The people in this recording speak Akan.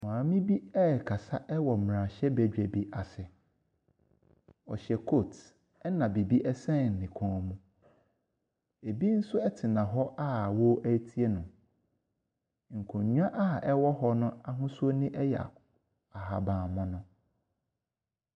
Maame bi ɛrekasa wɔ mmerahyɛbadwa bi ase. Ɔhyɛ kootu na biribi nso sɛn ne kɔn mu. Ɛbi nso tena hɔ a wɔretie no. Nkonnwa a ɛwɔ hɔ no ahosuo yɛ ahabanmono.